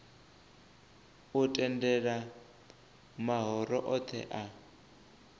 u tendela mahoro othe a